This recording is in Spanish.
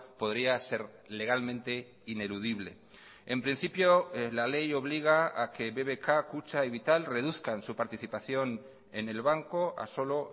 podría ser legalmente ineludible en principio la ley obliga a que bbk kutxa y vital reduzcan su participación en el banco a solo